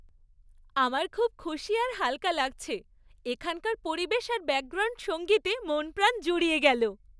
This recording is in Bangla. আমার খুব খুশি আর হালকা লাগছে, এখানকার পরিবেশ আর ব্যাকগ্রাউন্ড সঙ্গীতে মন প্রাণ জুড়িয়ে গেল।